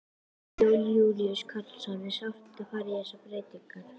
Jón Júlíus Karlsson: Er sárt að fara í þessar breytingar?